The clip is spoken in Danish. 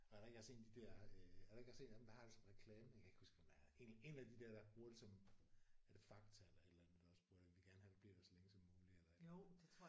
Er der ikke også en af de der øh er der ikke også en af dem der har det som reklame jeg kan ikke huske hvem det er en en af de der der bruger det som er det Fakta eller et eller andet der også bruger det vi vil gerne have du bliver der så længe som muligt eller et eller andet